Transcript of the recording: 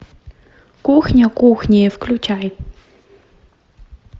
кухня кухня включай